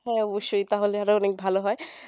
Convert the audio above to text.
হ্যাঁ অবশ্যই তাহলে আরো অনেক ভালো হয়